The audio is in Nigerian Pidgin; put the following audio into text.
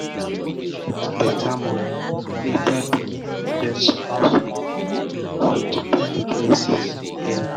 to get beta moni later begin invest small small moni for different places early